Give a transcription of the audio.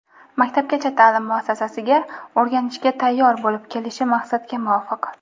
Maktabgacha taʼlim muassasasiga "o‘rganishga tayyor" bo‘lib kelishi maqsadga muvofiq.